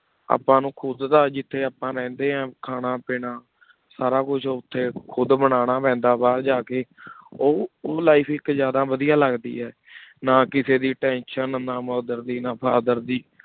ਆਪਾਂ ਨੂ ਖੁਦ ਦਾ ਜਿਥਯ ਆਪਾਂ ਰੇਹੰਡੀ ਆਂ ਖਾਨਾ ਪੀਨਾ ਸਾਰਾ ਕੁਛ ਓਥੀ ਖੁਦ ਬਨਾਨਾ ਪੀਂਦਾ ਬਹਿਰ ਜਾ ਕੀ ਓਹ ਲਿਫੇ ਜ਼ਿਯਾਦਾ ਵਾਦਿਯ ਲਗਦੀ ਆ ਨਾ ਕਿਸੀ ਦੇ Tension ਨਾ mother ਦੇ ਨਾ father ਦੇ